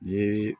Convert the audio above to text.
Ni